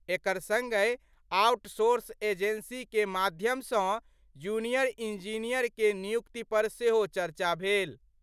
एकर संगहि outsource agency के माध्यम सं जूनियर इंजीनियर के नियुक्ति पर सेहो चर्चा भेल।